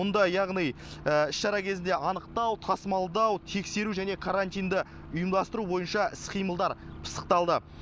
мұнда яғни іс шара кезінде анықтау тасымалдау тексеру және карантинді ұйымдастыру бойынша іс қимылдар пысықталды